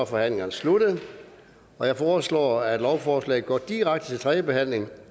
forhandlingen sluttet jeg foreslår at lovforslaget går direkte til tredje behandling